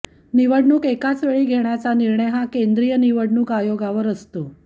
निवडणूक एकाच वेळी घेण्याचा निर्णय हा केंद्रीय निवडणूक आयोगावर असतो